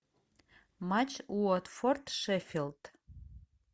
матч уотфорд шеффилд